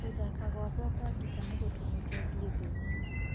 Gũthaka gwakwa kwa gita nĩgũtũmĩte thiĩ thĩĩ gima.